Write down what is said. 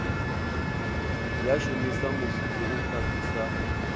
ya shumisa musuku u khwathisa